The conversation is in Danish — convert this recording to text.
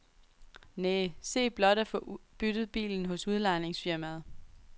Næh, se blot at få byttet bilen hos udlejningsfirmaet.